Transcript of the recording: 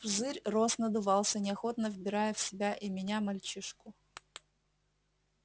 пузырь рос надувался неохотно вбирая в себя и меня и мальчишку